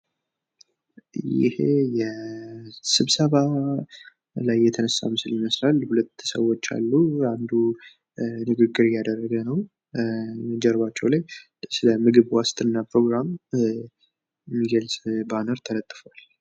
ይህ የስብሰባ ላይ የተነሳ ምስል ሊሆን ይችላል ።ሁለት ሰዎች አሉ፤ አንዱ ንግግር እያደረገ ነው ።ጀርባቸው ላይ ስለ ምግብ ዋስትና ፕሮግራም የሚገልፅ ባነር ተለጥፏል።